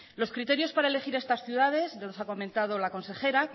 los criterios para elegir estas ciudades ya los ha comentado la consejera